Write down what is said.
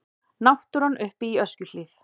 Náttúran uppi í Öskjuhlíð.